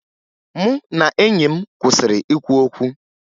Mụ na enyi m kwụsịrị ikwu okwu